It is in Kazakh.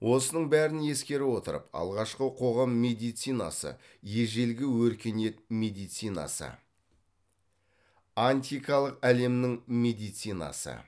осының бәрін ескере отырып алғашқы қоғам медицинасы ежелгі өркениет медицинасы антикалық әлемнің медицинасы